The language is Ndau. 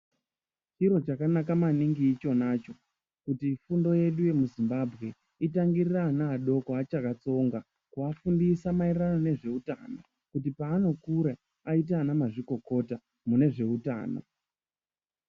Chirochakanaka maningi ichonacho kuti fundo yedu yemuzvimbambwe itangirire ana adoko achakatsonga. Kuvafundisa maererano nezveutano kuti paanokura aite anamazvikokota mune zveutano.